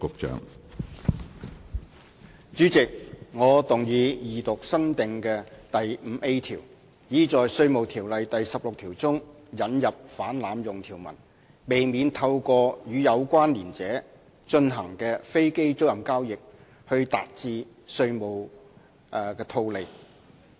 主席，我動議二讀新訂的第 5A 條，以在《稅務條例》第16條中引入反濫用條文，避免透過與有關連者進行的飛機租賃交易來達致稅務的套利。